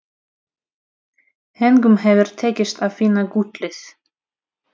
Engum hefur tekist að finna gullið.